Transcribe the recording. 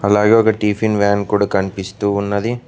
అలాగే ఒక tiffin van కూడా కనిపిస్తూ ఉన్నది.